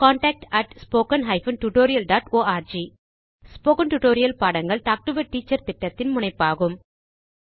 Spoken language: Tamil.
contact spoken hyphen tutorial dot org spoken tutorial பாடங்கள் டாக் டு எ டீச்சர் திட்டத்தின் முனைப்பாகும்